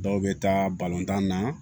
Dɔw bɛ taa balontan na